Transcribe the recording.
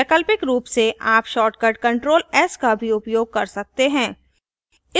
वैकल्पिक रूप से आप shortcut control s का भी उपयोग कर सकते हैं